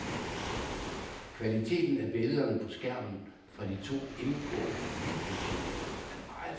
Kvaliteten af billederne på skærmen fra de to indgående videosignaler er meget flot.